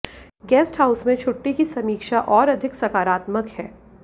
guest house में छुट्टी की समीक्षा और अधिक सकारात्मक है